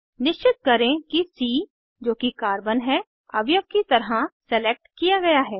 निश्चित करें कि सी जो की कार्बन है अवयव की तरह सेलेक्ट किया गया है